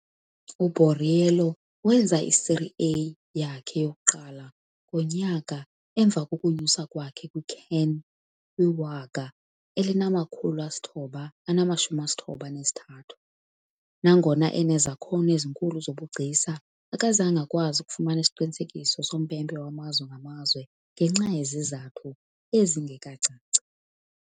U-Borriello wenza i-Serie A yakhe yokuqala ngonyaka emva kokunyuswa kwakhe kwi-CAN, kwi -1993 . Nangona unezakhono ezinkulu zobugcisa, akazange akwazi ukufumana isiqinisekiso sompempe wamazwe ngamazwe, ngenxa yezizathu ezingekacaci.